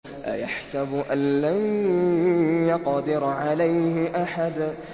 أَيَحْسَبُ أَن لَّن يَقْدِرَ عَلَيْهِ أَحَدٌ